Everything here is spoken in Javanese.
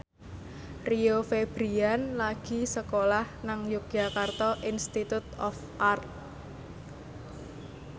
Rio Febrian lagi sekolah nang Yogyakarta Institute of Art